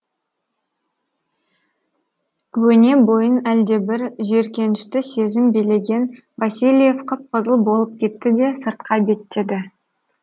өне бойын әлдебір жиіркенішті сезім билеген васильев қып қызыл болып кетті де сыртқа беттеді